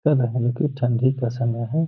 ठण्डी का समय है।